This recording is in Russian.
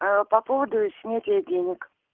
по поводу снятия денег